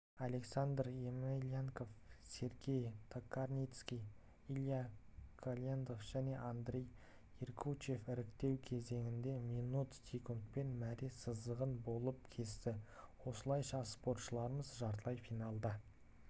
александр емельянов сергей токарницкий илья голендов және андрей ергучев іріктеу кезеңінде минут секундпен мәре сызығын болып кесті осылайша спортшыларымыз жартылай финалда